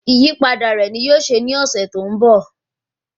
Ìyípadà rẹ ní yóò ṣe ní ọ̀sẹ̀ tó ń bọ̀